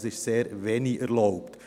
Es ist also sehr wenig erlaubt.